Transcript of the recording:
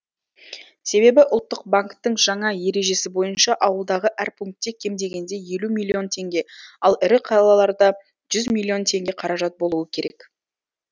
себебі ұлттық банктің жаңа ережесі бойынша ауылдағы әр пункте кем дегенде елу миллион теңге ал ірі қалаларда жүз миллион теңге қаражат болуы керек